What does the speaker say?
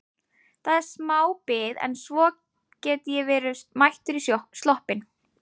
Það er smá bið en svo get ég verið mættur í sloppinn.